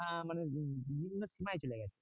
আহ মানে বিভি~ ভিবিন্ন সময় চলে গেছে।